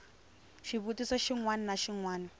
xivutiso xin wana na xin